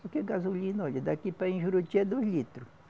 Porque gasolina, olha, daqui para ir em Juruti é dois litros.